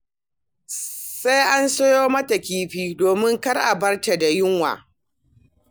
Sai a siyo mata kifi domin kar a bar ta da yunwa.